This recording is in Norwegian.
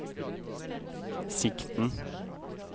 sikten